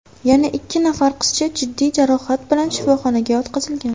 Yana ikki nafar qizcha jiddiy jarohat bilan shifoxonaga yotqizilgan.